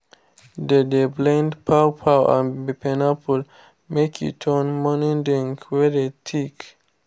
they dey blend pawpaw and pineapple make e turn morning drink wey dey thick